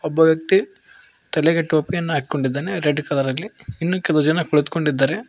ಒಬ್ಬ ವ್ಯಕ್ತಿ ತಲೆಗೆ ಟೋಪಿಯನ್ನು ಹಾಕಿಕೊಂಡಿದ್ದಾನೆ ರೆಡ್ ಕಲರಲ್ಲಿ ಇನ್ನು ಕೆಲವು ಜನ ಕುಳಿತುಕೊಂಡಿದ್ದಾರೆ.